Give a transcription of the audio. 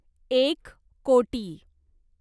एक कोटी